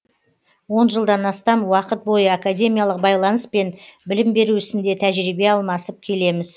он жылдан астам уақыт бойы академиялық байланыс пен білім беру ісінде тәжірибе алмасып келеміз